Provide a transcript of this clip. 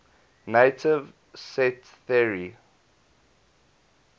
naive set theory